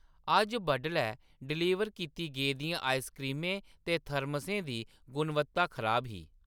अज्ज बड्डलै डलीवर कीती गेदियें आइसक्रीमें ते थर्मसें दी गुणवत्ता खराब ही।